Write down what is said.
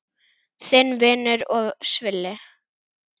Þinn vinur og svili.